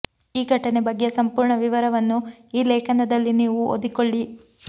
ಈ ಘಟನೆ ಬಗ್ಗೆ ಸಂಪೂರ್ಣ ವಿವರವನ್ನು ಈ ಲೇಖನದಲ್ಲಿ ನೀವು ಓದಿಕೊಳ್ಳಿ